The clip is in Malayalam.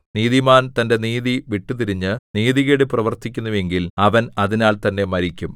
നീതിമാൻ തന്റെ നീതി വിട്ടുതിരിഞ്ഞ് നീതികേട് പ്രവർത്തിക്കുന്നുവെങ്കിൽ അവൻ അതിനാൽ തന്നെ മരിക്കും